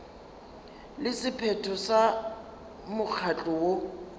le sephetho sa mokgatlo woo